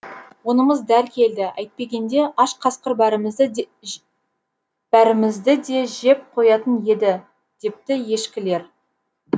онымыз дәл келді әйтпегенде аш қасқыр бәрімізді де жеп қоятын еді депті ешкілер